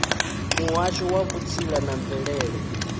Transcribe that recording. muhasho wa vhutsila na mvelele